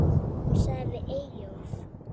Hún sagði við Eyjólf